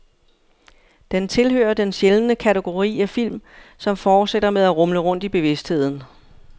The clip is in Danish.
Den tilhører den sjældne kategori af film, som fortsætter med at rumle rundt i bevidstheden.